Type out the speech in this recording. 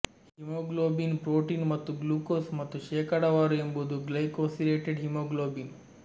haemoglobin protein ಮತ್ತು glucose ಮತ್ತು ಶೇಕಡಾವಾರು ಎಂಬುದು ಗ್ಲೈಕೊಸಿಲೇಟೆಡ್ ಹಿಮೋಗ್ಲೋಬಿನ್